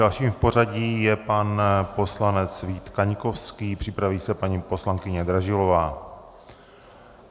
Dalším v pořadí je pan poslanec Vít Kaňkovský, připraví se paní poslankyně Dražilová.